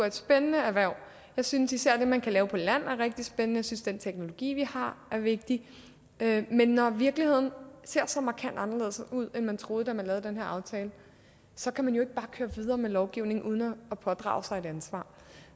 et spændende erhverv jeg synes især at det man kan lave på land er rigtig spændende jeg synes den teknologi vi har er vigtig men når virkeligheden ser så markant anderledes ud end man troede da man lavede den her aftale så kan man jo ikke bare køre videre med lovgivningen uden at pådrage sig et ansvar